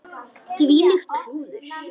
Þvílíkt klúður.